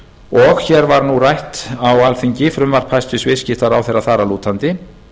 og fyrir alþingi liggur frumvarp hæstvirts viðskiptaráðherra þar að lútandi